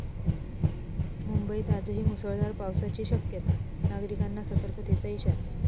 मुंबईत आजही मुसळधार पावसाची शक्यता, नागरिकांना सतर्कतेचा इशारा